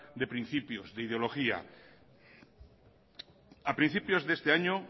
de principios de ideología a principios de este año